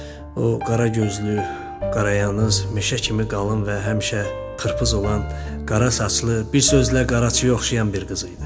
O qara gözlü, qara yanız, meşə kimi qalın və həmişə qırpız olan qara saçlı, bir sözlə qaraçıya oxşayan bir qız idi.